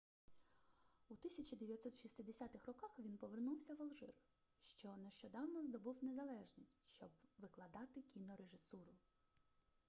у 1960 роках він повернувся в алжир що нещодавно здобув незалежність щоб викладати кінорежисуру